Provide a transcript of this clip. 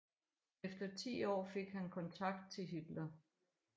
Efter ti år fik han kontakt til Hitler